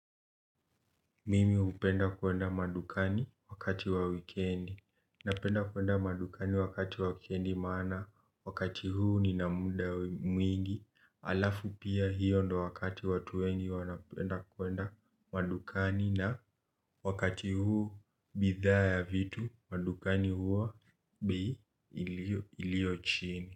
Mimi hupenda kwenda madukani wakati wa wikendi, napenda kwenda madukani wakati wa wikendi maana wakati huu nina muda mwingi, halafu pia hiyo ndo wakati watu wengi wanapenda kwenda madukani na wakati huu bidhaa ya vitu, madukani huwa bei iliyo chini.